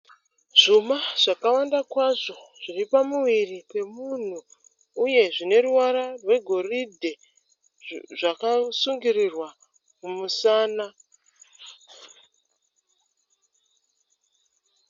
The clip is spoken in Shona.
Zvuma zvakawanda kwazvo zviri pamuviri pemunhu uye zvine ruvara rwegoridhe zvakasungirirwa mumusana.